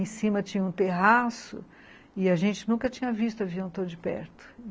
Em cima tinha um terraço e a gente nunca tinha visto avião tão de perto.